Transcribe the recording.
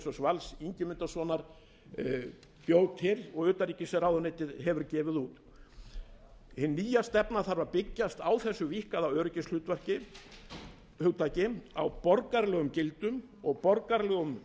vals ingimundarsonar prófessors bjó til og utanríkisráðuneytið hefur gefið út hin nýja stefna þarf að byggjast á þessu víkkaða öryggishugtaki á borgaralegum gildum og borgaralegum